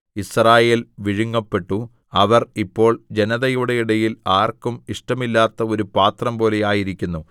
യിസ്രായേൽ വിഴുങ്ങപ്പെട്ടു അവർ ഇപ്പോൾ ജനതയുടെ ഇടയിൽ ആർക്കും ഇഷ്ടമില്ലാത്ത ഒരു പാത്രംപോലെ ആയിരിക്കുന്നു